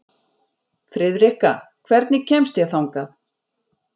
Friðrikka, hvernig kemst ég þangað?